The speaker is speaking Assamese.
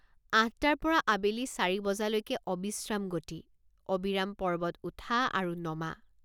আঠটাৰপৰা আবেলি চাৰি বজালৈকে অবিশ্ৰাম গতি অবিৰাম পৰ্বত উঠা আৰু নমা।